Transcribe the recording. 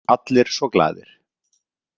Allir svo glaðir.